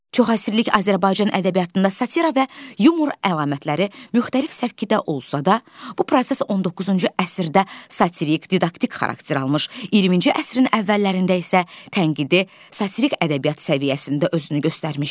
Çoxəsrlik Azərbaycan ədəbiyyatında satira və yumor əlamətləri müxtəlif səvkidə olsa da, bu proses 19-cu əsrdə satirik didaktik xarakter almış, 20-ci əsrin əvvəllərində isə tənqidi satirik ədəbiyyat səviyyəsində özünü göstərmişdi.